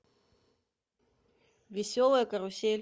веселая карусель